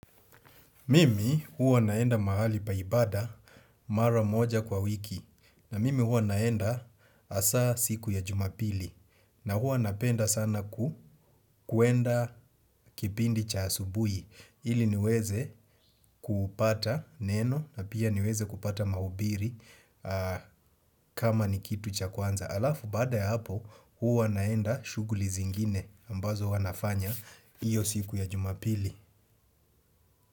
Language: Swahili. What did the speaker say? Mimi huwa naenda mahali pa ibada mara moja kwa wiki na mimi huwa naenda asa siku ya jumapili na huwa napenda sana kwenda kipindi cha asubuhi ili niweze kupata neno na pia niweze kupata mahubiri kama ni kitu cha kwanza. Halafu baada ya hapo huwa naenda shughuli zingine ambazo huwa nafanya iyo siku ya jumapili.